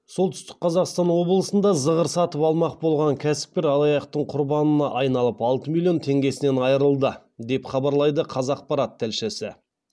солтүстік қазақстан облысында зығыр сатып алмақ болған кәсіпкер алаяқтың құрбанына айналып алты миллион теңгесінен айырылды деп хабарлайды қазақпарат тілшісі